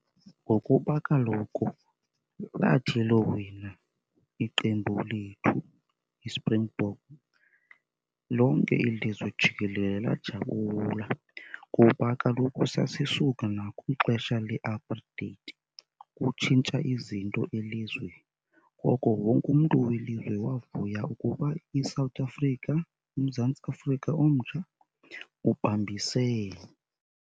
Ngokuba kaloku lathi lowina iqembu lethu, iSpringbok, lonke ilizwe jikelele lajabula kuba kaloku sasisuka nakwixesha le-apartheid kutshintsha izinto elizweni. Ngoko wonke umntu welizwe wavuya ukuba iSouth Africa, uMzantsi Afrika omtsha ubambisene.